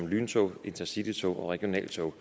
lyntog intercitytog og regionaltog